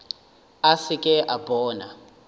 a se ke a bona